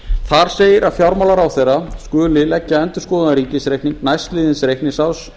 þar segir að fjármálaráðherra skuli leggja endurskoðaðan ríkisreikning næstliðins reikningsárs